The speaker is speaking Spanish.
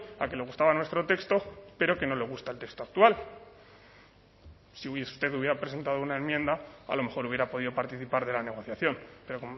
a que le gustaba nuestro texto pero que no le gusta el texto actual si usted hubiera presentado una enmienda a lo mejor hubiera podido participar de la negociación pero